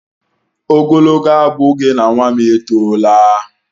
Ogologo abụghị na nwam etola!